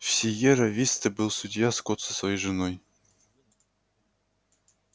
в сиерра висте был судья скотт со своей женой